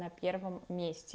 на первом месте